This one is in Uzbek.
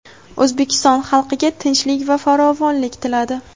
O‘zbekiston xalqiga tinchlik va farovonlik tiladi.